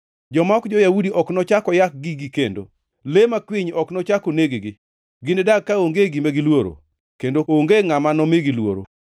Joma ok jo-Yahudi ok nochak oyak gigi kendo, le makwiny ok nochak oneg-gi. Ginidag kaonge gima giluoro, kendo onge ngʼama nomigi luoro.